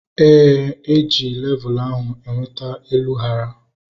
Éè, eji levul ahu enweta elu hara